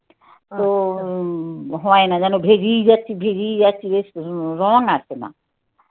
তো হয় না. যেন ভেজেই যাচ্ছি. ভেজেই যাচ্ছি. বেশ রং আসে না